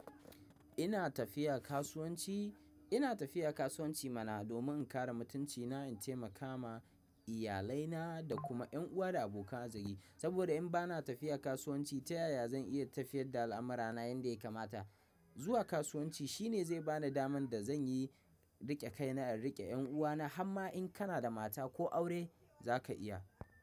Ina tafiya kasuwanci, ina tafiya kasuwanci mana domin in kare mutunci na, in taimaka ma iyalai na da kuma 'yan uwa da abokan arziki. Saboda in ba na tafiya kasuwanci ta yaya zan iya tafiyar da al'amura na yanda yakamata. Zuwa kasuwanci shi ne zai bani daman da zan yi riƙe kai na, in riƙe yan'uwa na. Har ma in kana da mata ko aure zaka iya.